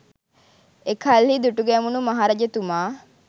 එකල්හි දුටුගැමුුණු මහරජතුමා